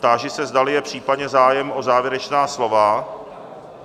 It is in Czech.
Táži se, zdali je případně zájem o závěrečná slova?